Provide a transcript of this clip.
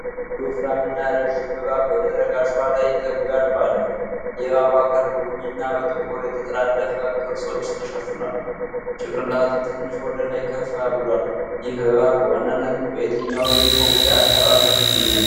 አንድ ወፍራም እና ረዥም እባብ በደረቅ አሸዋ ላይ ተንጋሎ አለ። የእባቡ አካል በቡኒና ጥቁር የተጠላለፉ ቅርጾች ተሸፍኗል፤ ጭንቅላቱ ትንሽ ወደ ላይ ከፍ ብሏል። ይህ እባብ በዋናነት በየትኛው የኢትዮጵያ አካባቢ ይገኛል?